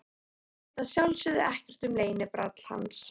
Hún veit að sjálfsögðu ekkert um leynibrall hans.